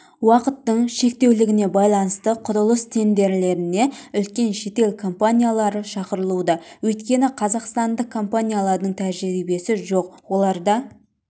уақыттың шектеулігіне байланысты құрылыс тендерлеріне үлкен шетел компаниялары шақырылуда өйткені қазақстандық компаниялардың тәжірибесі жоқ оларда